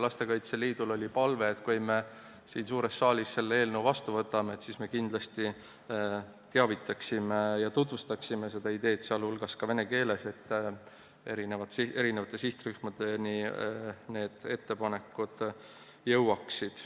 Lastekaitse Liidul oli palve, et kui me siin suures saalis selle eelnõu vastu võtame, siis me kindlasti teavitaksime ja tutvustaksime seda ideed laiemalt, sh vene keeles, et need muudatused eri sihtrühmadeni jõuaksid.